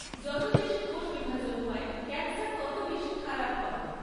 যত বেশি কোষ বিভাজন হয়, ক্যান্সার তত বেশি খারাপ হয়।